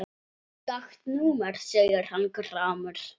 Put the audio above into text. Skakkt númer segir hann gramur.